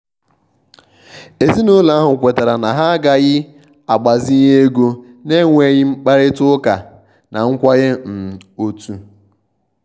ezinúlọ̀ ahụ̀ kwètàrà na ha agàghi agbazínye égò na-ènwèghi mkpárịtà ụ́kà na nkwènyé um òtù.